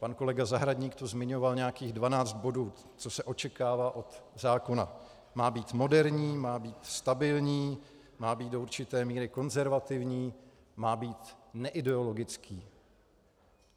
Pan kolega Zahradník tu zmiňoval nějakých 12 bodů, co se očekává od zákona: Má být moderní, má být stabilní, má být do určité míry konzervativní, má být neideologický.